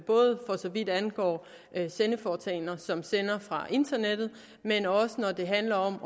både for så vidt angår sendeforetagender som sender fra internettet men også når det handler om